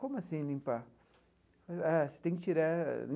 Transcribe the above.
Como assim limpar? Ah você tem que tirar.